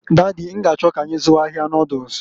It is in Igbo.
Daddy, n'g'achọ k'anyị zụwa ahịa noduls.